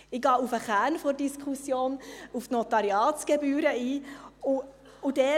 Ich gehe auf den Kern der Diskussion, auf die Notariatsgebühren, ein.